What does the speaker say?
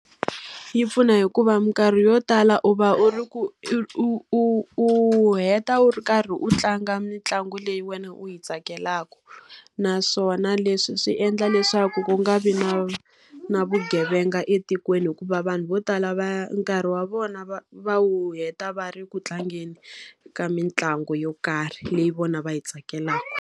Yi pfuna hikuva minkarhi yo tala u va u ri ku u u heta u ri karhi u tlanga mitlangu leyi wena u yi tsakelaka. Naswona leswi swi endla leswaku ku nga vi na na vugevenga etikweni hikuva vanhu vo tala va nkarhi wa vona va va wu heta va ri ku tlangeni ka mitlangu yo karhi leyi vona va yi tsakelaka.